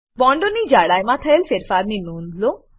બોન્ડોની જાડાઈમાં થયેલ ફેરફારની નોંધ લો